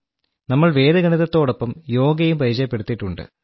നമ്മൾ വേദഗണിതത്തോടൊപ്പം യോഗയും പരിചയപ്പെടുത്തിയിട്ടുണ്ട്